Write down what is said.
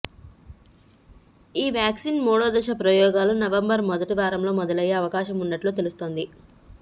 ఈ వ్యాక్సిన్ మూడో దశ ప్రయోగాలు నవంబర్ మొదటివారంలో మొదలయ్యే అవకాశం ఉన్నట్లు తెలుస్తోంది